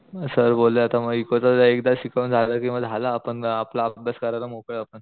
मग सर बोलले आता मग इकोच एकदा शिकून झालं कि मग झालं आपण आपला अभ्यास करायला मोकळे आहोत आपण.